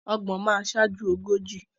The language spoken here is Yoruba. Ọgbọ̀n máa sáájú ogójì.